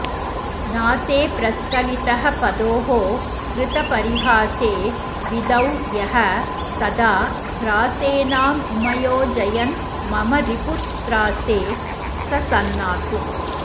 न्यासे प्रस्खलितः पदोः कृतपरीहासे विधौ यः सदा ह्रासेनामुमयोजयन्मम रिपुत्रासे स सन्नातु